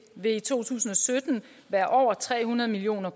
vil i to tusind og sytten være over tre hundrede million